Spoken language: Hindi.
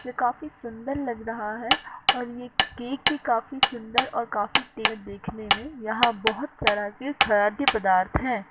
ये काफी सुंदर लग रहा है और ये केक भी काफी सुंदर और काफी देखने में यहाँ बहोत तरह के खाद्यय पदार्थ है।